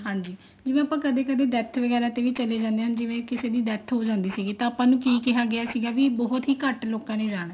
ਹਾਂਜੀ ਜਵੇਂ ਆਪਾਂ ਕਦੇ ਕਦੇ death ਤੇ ਚਲੇ ਜਾਂਦੇ ਜਿਵੇਂ ਕਿਸੇ ਦੀ death ਜੋ ਜਾਂਦੀ ਸੀਗੀ ਤਾਂ ਆਪਾਂ ਨੂੰ ਕੀ ਕਿਹਾ ਗਿਆ ਸੀਗਾ ਵੀ ਬਹੁਤ ਹੀ ਘੱਟ ਲੋਕਾਂ ਨੇ ਜਾਣਾ